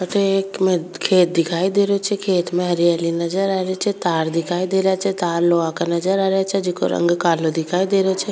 अठे एक खेत दिखाई दे रो छे खेत में हरियाली नजर आ रही छे तार दिखाई दे रा छे तार लोहा का नजर आ रा छे जिको रंग कालो दिखाई दे रो छे।